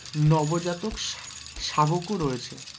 নবজাতক শা~শাবকও রয়েছে,